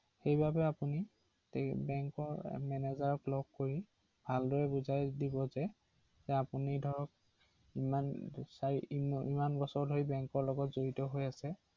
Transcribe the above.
অ অ